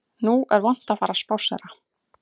Nú er vont að fara að spásséra